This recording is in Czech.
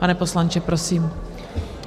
Pane poslanče, prosím.